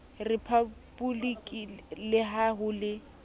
riphaboliki le ha ho le